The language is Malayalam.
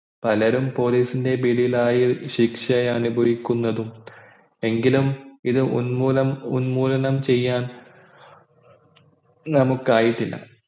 പലരും police ൻ്റെ പിടിയിലായി ശിക്ഷ അനുഭവിക്കുന്നതും എങ്കിലും ഇത് ഉൻമൂലം ഉന്മൂലനം ചെയ്യാൻ നമ്മുക്കായിട്ടില്ല